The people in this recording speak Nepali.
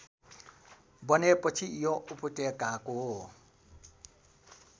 बनेपछि यो उपत्यकाको